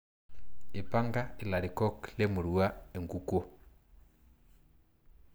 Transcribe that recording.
Ipanka ilarikok le murua enkukuo.